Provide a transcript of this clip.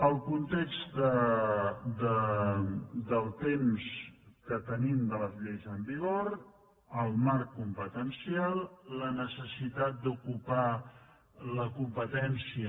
el context del temps que tenim de les lleis en vigor el marc competencial la necessitat d’ocupar la com·petència